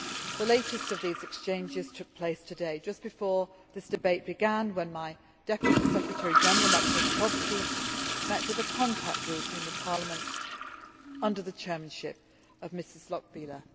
The latest of these exchanges took place today, just before this debate began, when my Deputy Secretary General, Maciej Popowski, met with the contact group in Parliament, under the chairmanship of Mrs Lochbihler.